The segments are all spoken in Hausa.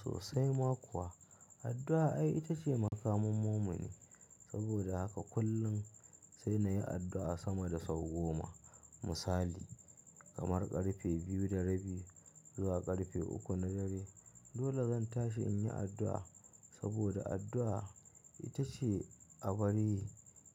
Sosai ma kuwa, addu'a ai ita ce makamin mumini. Saboda haka kullum sai na yi addu'a sama da sau goma. Misali kamar ƙarfe biyu da rabi zuwa ƙarfe uku na dare dole zan tashi in yi addu'a. Saboda addu'a ita ce abu dai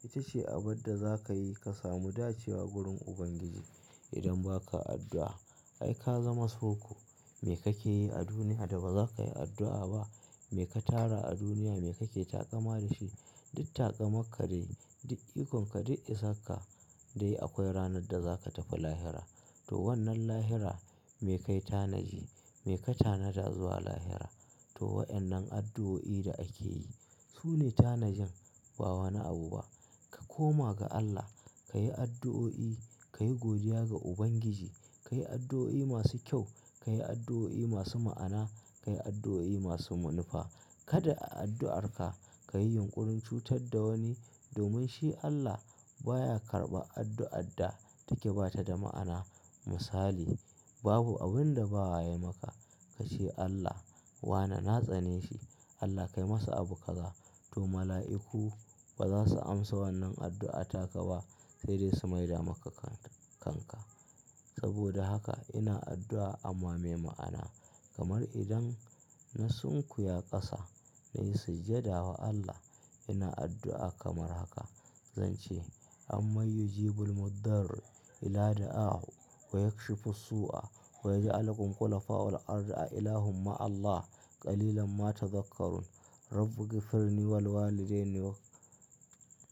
ita ce abin da za ka yi ka samu dacewa gurin Ubangiji. Idan ba ka addu'a ai ka zama soko. Me ka ke yi a duniya da ba za ka yi addu'a ba? Me ka tara a duniya? Me kake taƙama da shi? Duk taƙamanka dai duk ikon ka duk isar ka dai akwai ranar da za ka tafi lahira. To wannan lahira me kai tanaji, me ka tanada zuwa lahira? To waƴannan addu'o'i da ake yi su ne tanajin, ba wani abu ba. Ka koma ga Allah, ka yi addu'o'i, ka yi godiya ga Ubangiji, ka yi addu'o'i masu kyau, ka yi addu'o'i masu ma'ana, ka yi addu'o'i masu manufa. Kada a addu'arka ka yi yunƙurin cutar da wani domin shi Allah baya karɓa addu'ar da take ba ta da ma'ana. Misali babu abin da bawa ya maka ka ce Allah wane na tsane shi, Allah kai masa abu kaza. To mala'iku ba za su amsa wannan addu'a ta ka ba sai dai su maida maka kanka. Saboda haka ina addu'a ama me ma'ana kamar idan na sunkuya ƙasa na yi sujjada wa Allah ina addu'a kamar haka, zan ce "Ammayyujibu almuddarri idaa daaahu wayakshifussuua wayaja'alukum khulafaa'u fil-ard ilaahumma Allah qalilam ma tazakkarun Rabbighfirli walidaini wal.